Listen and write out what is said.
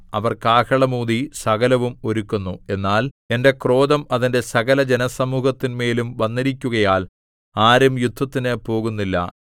അവർ കാഹളം ഊതി സകലവും ഒരുക്കുന്നു എന്നാൽ എന്റെ ക്രോധം അതിന്റെ സകല ജനസമൂഹത്തിന്മേലും വന്നിരിക്കുകയാൽ ആരും യുദ്ധത്തിനു പോകുന്നില്ല